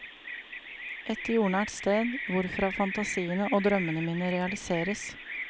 Et jordnært sted, hvorfra fantasiene og drømmene mine realiseres.